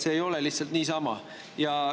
See ei ole lihtsalt niisama.